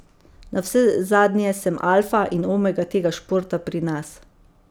Navsezadnje sem alfa in omega tega športa pri nas.